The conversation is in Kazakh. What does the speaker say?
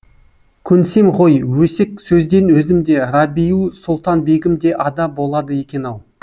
көнсем ғой өсек сөзден өзім де рабиу сұлтан бегім де ада болады екен ау